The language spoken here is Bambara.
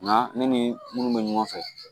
Nka ne ni minnu bɛ ɲɔgɔn fɛ